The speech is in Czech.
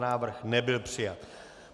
Návrh nebyl přijat.